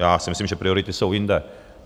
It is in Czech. Já si myslím, že priority jsou jinde.